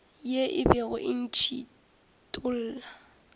ye e bego e ntšhithola